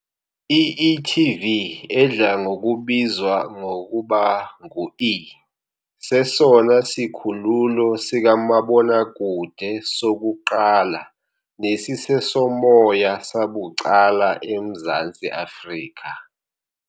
I-e.tv, edla ngokubizwa ngokuba ngu e, sesona sikhululo sikamabonakude sokuqala nesisesomoya sabucala eMzantsi Afrika .